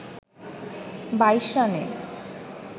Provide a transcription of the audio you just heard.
২২ রানে